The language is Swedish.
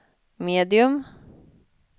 medium